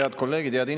Head kolleegid!